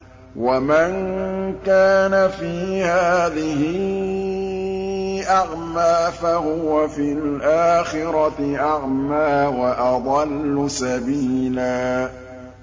وَمَن كَانَ فِي هَٰذِهِ أَعْمَىٰ فَهُوَ فِي الْآخِرَةِ أَعْمَىٰ وَأَضَلُّ سَبِيلًا